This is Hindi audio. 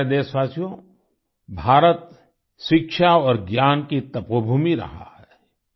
मेरे प्यारे देशवासियो भारत शिक्षा और ज्ञान की तपोभूमि रहा है